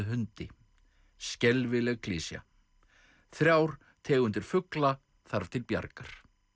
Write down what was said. hundi skelfileg klisja þrjár tegundir fugla þarf til bjargar